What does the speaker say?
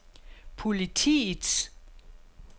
politiets